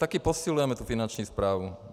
Taky posilujeme tu finanční správu.